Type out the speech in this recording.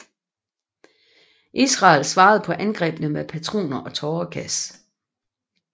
Israel svarede på angrebene med patroner og tåregas